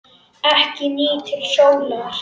Ekki nýtur sólar.